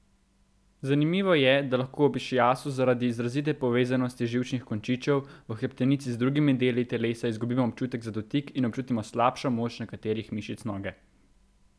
Zanimivo je, da lahko ob išiasu zaradi izrazite povezanosti živčnih končičev v hrbtenici z drugimi deli telesa izgubimo občutek za dotik in občutimo slabšo moč nekaterih mišic noge.